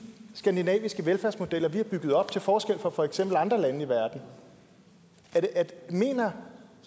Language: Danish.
skandinaviske velfærdsmodeller vi har bygget op til forskel fra for eksempel andre lande i verden mener